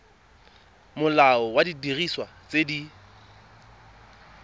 molao wa didiriswa tse di